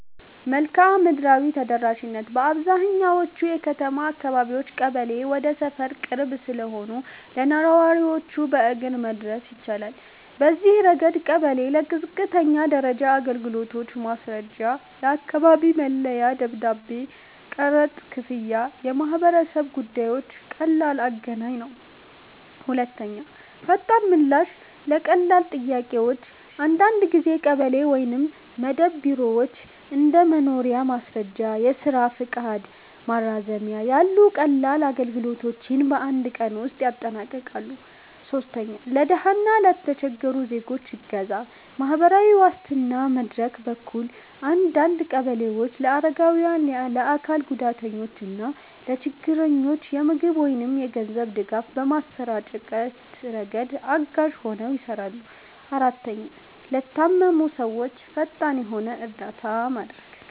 1. መልክዓ ምድራዊ ተደራሽነት - በአብዛኛዎቹ የከተማ አካባቢዎች ቀበሌ ወደ ሰፈር ቅርብ ስለሆነ ለነዋሪዎች በእግር መድረስ ይቻላል። በዚህ ረገድ ቀበሌ ለዝቅተኛ ደረጃ አገልግሎቶች (ማስረጃ፣ የአካባቢ መለያ ደብዳቤ፣ ቀረጥ ክፍያ፣ የማህበረሰብ ጉዳዮች) ቀላል አገናኝ ነው። 2. ፈጣን ምላሽ ለቀላል ጥያቄዎች - አንዳንድ ጊዜ ቀበሌ ወይም መደብር ቢሮዎች እንደ የመኖሪያ ማስረጃ፣ የስራ ፈቃድ ማራዘሚያ ያሉ ቀላል አገልግሎቶችን በአንድ ቀን ውስጥ ያጠናቅቃሉ። 3. ለድሃ እና ለተቸገሩ ዜጎች እገዛ - በማህበራዊ ዋስትና መድረክ በኩል አንዳንድ ቀበሌዎች ለአረጋውያን፣ ለአካል ጉዳተኞች እና ለችግረኞች የምግብ ወይም የገንዘብ ድጋፍ በማሰራጨት ረገድ አጋዥ ሆነው ይሰራሉ። 4, ለታመሙ ሰዎች ፈጣን የሆነ እርዳታ ማድረግ